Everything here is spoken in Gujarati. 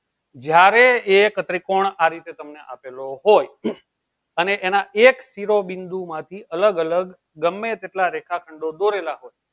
જયારે એક ત્રિકોણ આ રીતે તમને આપેલો હોય અને એના એક શીરો બીન્દો માંથી અલગ અલગ ગમે કેટલા રેખા ચિન્હી દોરેલા હોય